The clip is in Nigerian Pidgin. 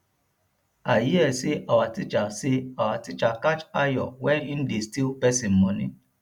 i hear say our teacher say our teacher catch ayo wen he dey steal person money